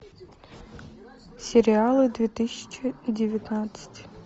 сериалы две тысячи девятнадцать